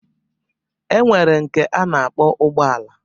E nwere nke a na-akpọ ụgbọala